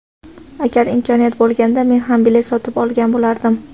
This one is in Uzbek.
Agar imkoniyat bo‘lganda men ham bilet sotib olgan bo‘lardim.